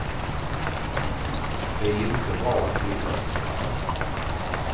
Det är inte bra att skiljas så här.